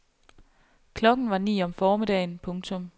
Klokken var ni om formiddagen. punktum